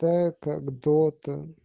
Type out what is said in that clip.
та как дота